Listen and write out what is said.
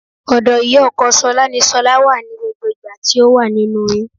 Ọ̀dọ̀ ìyá ọkọ ṣọlá ní ṣọlá wà ní gbogbo ìgbà tí ó wà nínú oyún